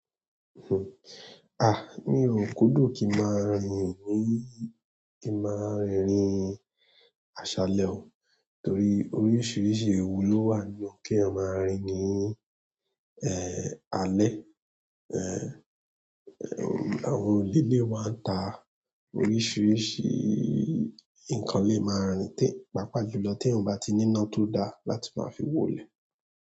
Ah! Mi ò kúndùn kí n máa rìn níí, kí n máa rìn rìn aṣálẹ̀ o. Torí oríṣiríṣi ewu ló wà níbẹ̀ keeyan maá rìn ní, alẹ́. Àwọn olé lè wa ń ta oríṣiríṣi nǹkan lé máa ń rìn te, pàápàá jùlọ teeyàn o bá ti níná tó daá láti máa fi wo ilẹ̀